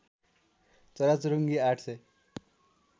चराचुरुङ्गी ८ सय